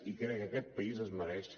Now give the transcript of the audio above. i crec que aquest país es mereix